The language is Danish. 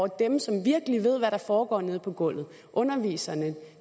dem som virkelig ved hvad der foregår nede på gulvet underviserne